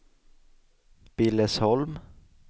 Billesholm